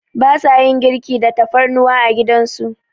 Ba sa yin girki da tafarnuwa a gidan su.